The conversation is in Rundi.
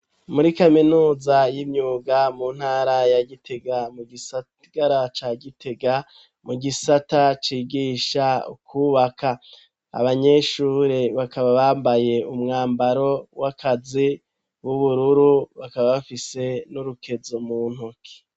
Muri kaminuza y'imyuga mu ntara ya gitega mu gisagara ca gitega mu gisata cigisha ukwubaka abanyeshure bakaba bambaye umwambaro w'akazi w'ubururu bakaba bafise n'urukezo mu ntoke.